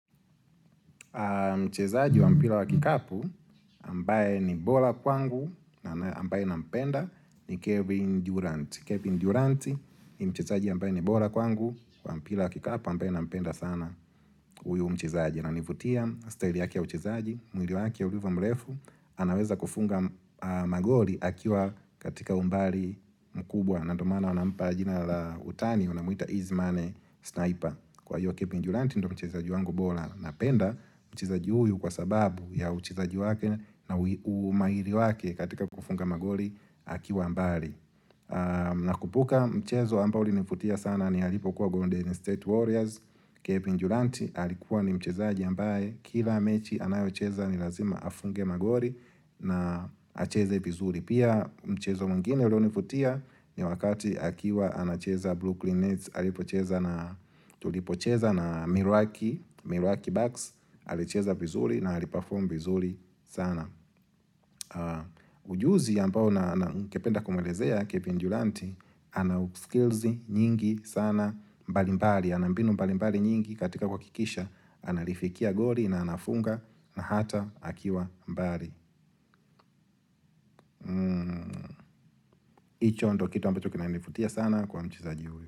Mchezaji wa mpila wa kikapu ambaye ni bola kwangu na ambaye nampenda ni Kevin Durant Kevin Durant ni mchezaji ambaye ni bola kwangu kwa mpila wa kikapu ambaye na mpenda sana huyu mchezaji ananivutia style yake ya uchezaji mwili wake urivo mlefu anaweza kufunga magoli akiwa katika umbali mkubwa na ndo maana wanampa jina la utani wanamuita easy money sniper Kwa hiyo Kevin Durant ndo mchezaji wangu bola na penda mchezaji huyu kwa sababu ya uchezaji wake na umairi wake katika kufunga magori akiwa mbari Nakumbuka mchezo ambao ulinivutia sana ni alipokuwa Golden State Warriors Kevin Durante alikuwa ni mchezaji ambaye Kila mechi anayo cheza ni lazima afunge magori na acheze vizuri pia mchezo mwingine ulionivutia ni wakati akiwa anacheza Brooklyn Nets alipocheza na tulipocheza na Mirwaki Mirwaki Bucks alicheza vizuri na aliperform vizuri sana ujuzi ambao na ningekependa kumwelezea kebendulanti ana u skills nyingi sana mbalimbali, ana mbinu mbalimbali nyingi katika kuhakikisha analifikia gori na anafunga na hata akiwa mbali hicho ndo kitu ambacho kina nivutia sana kwa mchezaji huyo.